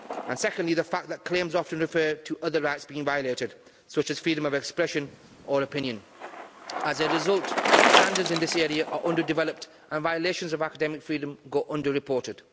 and secondly, the fact that claims often referred to other rights being violated, such as freedom of expression or opinion. As a result, standards in this area are under developed and violations of academic freedom go underreported.